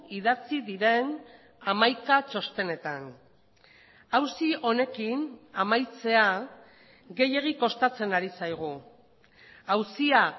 idatzi diren hamaika txostenetan auzi honekin amaitzea gehiegi kostatzen ari zaigu auzia